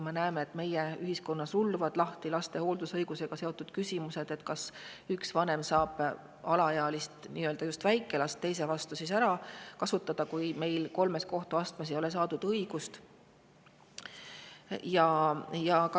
Me näeme, et meie ühiskonnas rulluvad lahti laste hooldusõigusega seotud küsimused, näiteks kas üks vanem saab väikelast teise vanema vastu ära kasutada, kui ta ei ole kolmes kohtuastmes õigust saanud.